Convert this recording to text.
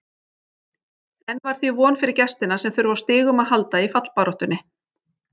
Enn var því von fyrir gestina sem þurfa á stigum að halda í fallbaráttunni.